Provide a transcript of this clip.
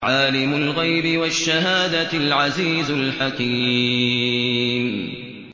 عَالِمُ الْغَيْبِ وَالشَّهَادَةِ الْعَزِيزُ الْحَكِيمُ